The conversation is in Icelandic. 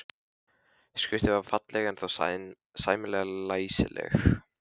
Skriftin var ekki falleg en þó sæmilega læsileg.